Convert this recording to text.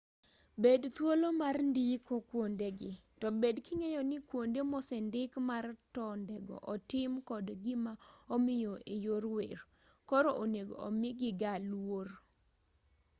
bed thuolo mar ndiko kuondegi to bed king'eyo ni kuonde mosendik mar tondego otim kod gimaomiyo eyor wer koro onego omigigaa luor